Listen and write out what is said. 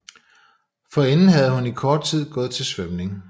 Forinden havde hun i kort tid gået til svømning